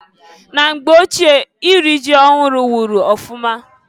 Na mgbe ochie iri ji ọhụrụ wụrụ ọfụma.